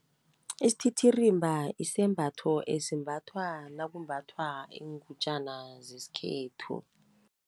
Isititirimba isembatho esimbathwa nakumbathwa iingutjana zeskhethu.